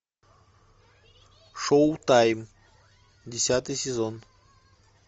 шоу тайм десятый сезон